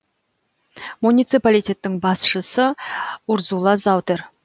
муниципалитеттің басшысы урзула заутер